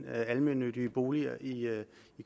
almennyttige boliger i